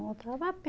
Voltava a pé.